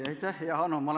Aitäh, hea Hanno!